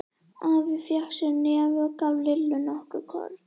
Afi fékk sér í nefið og gaf Lillu nokkur korn.